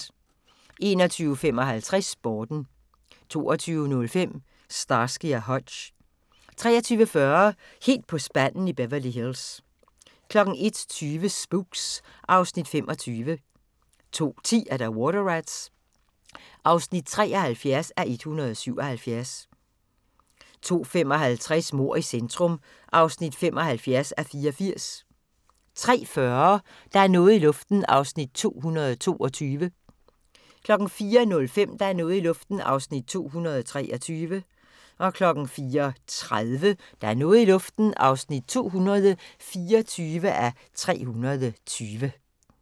21:55: Sporten 22:05: Starsky & Hutch 23:40: Helt på spanden i Beverly Hills 01:20: Spooks (Afs. 25) 02:10: Water Rats (73:177) 02:55: Mord i centrum (75:84) 03:40: Der er noget i luften (222:320) 04:05: Der er noget i luften (223:320) 04:30: Der er noget i luften (224:320)